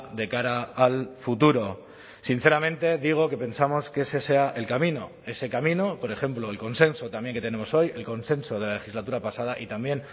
de cara al futuro sinceramente digo que pensamos que ese sea el camino ese camino por ejemplo el consenso también que tenemos hoy el consenso de la legislatura pasada y también